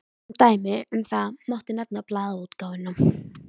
Sem dæmi um það mátti nefna blaðaútgáfuna.